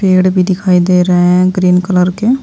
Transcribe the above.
पेड़ भी दिखाई दे रहे हैं ग्रीन कलर के।